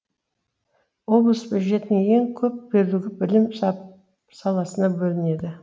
облыс бюджетінің ең көп бөлігі білім саласына бөлінеді